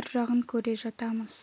ар жағын көре жатамыз